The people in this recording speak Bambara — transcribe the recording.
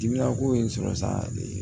Dimiya ko ye n sɔrɔ sa ee